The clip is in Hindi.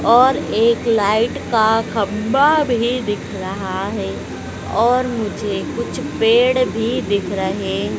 और एक लाइट का खंभा भी दिख रहा है और मुझे कुछ पेड़ भी दिख रहे--